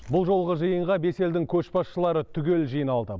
бұл жолғы жиынға бес елдің көшбасшылары түгел жиналды